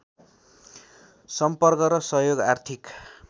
सम्पर्क र सहयोग आर्थिक